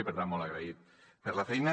i per tant molt agraït per la feina